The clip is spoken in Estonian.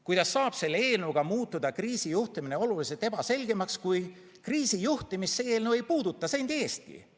Kuidas saab selle eelnõuga muutuda kriisijuhtimine oluliselt ebaselgemaks, kui kriisijuhtimist see eelnõu ei puuduta sendi eestki?